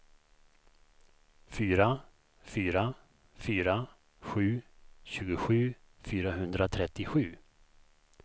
fyra fyra fyra sju tjugosju fyrahundratrettiosju